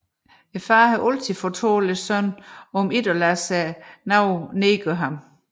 Faderen har altid fortalt sønnen om ikke at lade nogen nedgøre ham